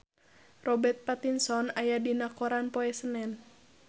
Robert Pattinson aya dina koran poe Senen